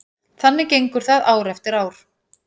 Þannig gengur það ár eftir ár.